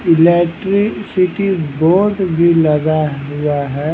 Electricity board भी लगा हुआ है।